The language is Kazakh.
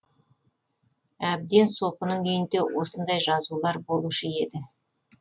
әбден сопының үйінде осындай жазулар болушы еді